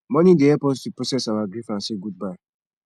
mourning dey help us to process our grief and say goodbye